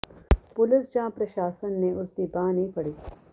police ਜਾਂ ਪ੍ਰਸ਼ਾਸਨ ਨੇ ਉਸ ਦੀ ਬਾਂਹ ਨਹੀਂ ਫੜੀ